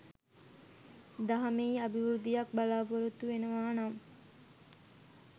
දහමෙහි අභිවෘද්ධියක් බලාපොරොත්තු වෙනවා නම්